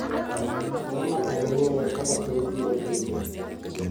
Ang’o ma en ng’eyo kaka piny biro bedo?